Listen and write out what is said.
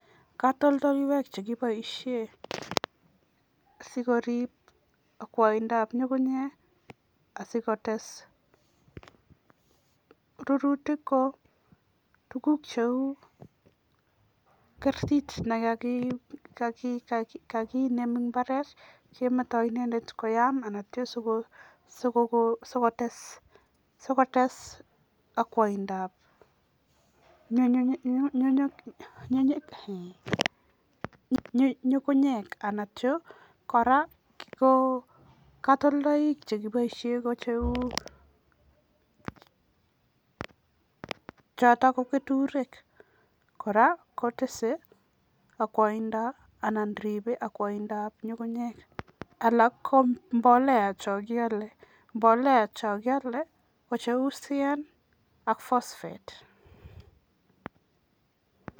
Katoltolwek chekipoishe sikoriip akwaindoab ngungunyek asikotes rurutik ko tuguk cheu kertit nakakinem eng imbaaret kemetoi inendet koyaam asinityo sikotes akwaindoab ngungunyek anityo kora ko katoldolaik chekipoishe kou choto ko keturek kora kotese akwaindoab anan riipe akwaindoab nyugunyek, alak ko mbolea cho kiale. Mbolea cho kiale ko cheu CAN ak Phosphate.